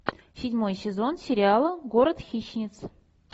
седьмой сезон сериала город хищниц